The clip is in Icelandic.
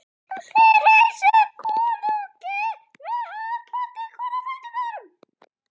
Þeir heilsuðu konungi með handabandi hvor á fætur öðrum.